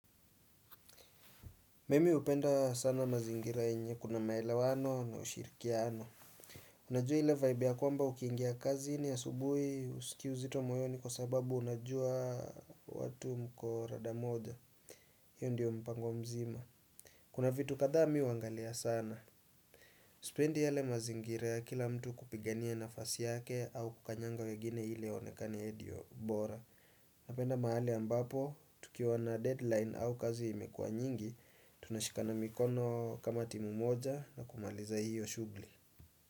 Mimi hupenda sana mazingira yenye kuna maelewano na ushirikiano Unajua ile vibe ya kwamba ukiingia kazini asubuhi husikii uzito moyoni kwa sababu unajua watu mko rada moja hiyo ndio mpango mzima Kuna vitu kadhaa mi huangalia sana Sipendi yale mazingira ya kila mtu kupigania nafasi yake au kukanyanga wengine ili aonekane yeye ndio bora Napenda mahali ambapo tukiwa na deadline au kazi imekua nyingi tunashikana mikono kama timu moja na kumaliza hiyo shughuli.